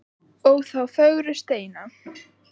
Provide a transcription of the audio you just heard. ó þá fögru steina